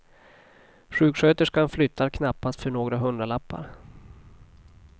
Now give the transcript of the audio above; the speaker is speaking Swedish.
Sjuksköterskan flyttar knappast för några hundralappar.